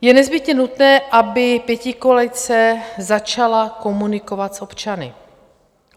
Je nezbytně nutné, aby pětikoalice začala komunikovat s občany.